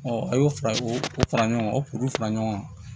a y'o fara o fara ɲɔgɔn kan o kuru fara ɲɔgɔn kan